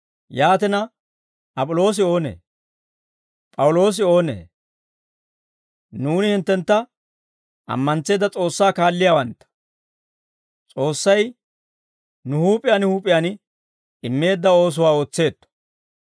Yaatina, Ap'iloosi oonee? P'awuloosi oonee? Nuuni hinttentta ammantseedda S'oossaa kaalliyaawantta. S'oossay nuw huup'iyaan huup'iyaan immeedda oosuwaa ootseetto.